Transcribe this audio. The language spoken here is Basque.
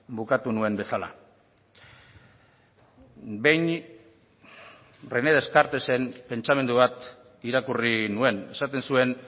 bukatu nuen bezala behin rené descartesen pentsamendu bat irakurri nuen esaten zuen